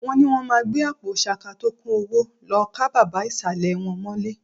Wọ́n ni wọ́n máa gbé àpò ṣaka tó kún owó lọ ká bàbá ìsàlẹ̀ wọn mọ́lé